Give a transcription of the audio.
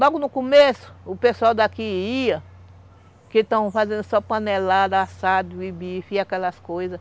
Logo no começo, o pessoal daqui ia, que estão fazendo só panelada, assado e bife e aquelas coisas.